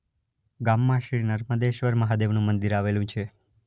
ગામમાં શ્રી નર્મદેશ્વર મહાદેવનું મંદિર આવેલુ છે.